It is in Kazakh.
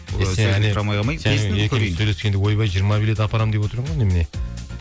ойбай жиырма билет апарамын деп отыр едің ғой немене